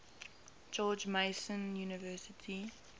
george mason university